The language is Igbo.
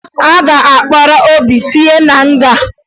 A ga-akpọrọ Obi tinye na nga